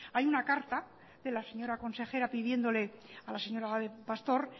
hay una carta de la señora consejera pidiéndole a la señora pastor